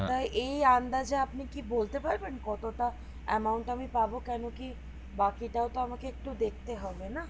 তা এই এ আন্দাজে আপনি কি বলতে পারবেন কত টা amount আমি পাবো কেনো কি বাকি টাও তো আমাকে একটু দেখতে হবে না